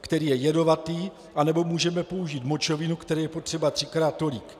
který je jedovatý, nebo můžeme použít močovinu, které je potřeba třikrát tolik.